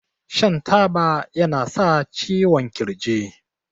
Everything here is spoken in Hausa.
shan taba yana sa ciwon kirji